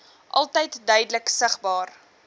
altyd duidelik sigbaar